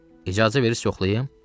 İcazə verirsiniz yoxlayım?